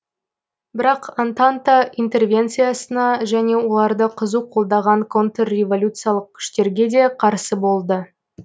бірақ антанта интервенциясына және оларды қызу қолдаған контрреволюциялық күштерге де қарсы болды